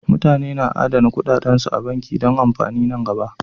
Mutane na adana kuɗaɗansu a banki don amfanin nan gaba.